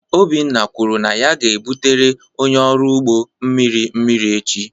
Obinna kwuru na ya ga-ebutere onye ọrụ ugbo mmiri mmiri echi.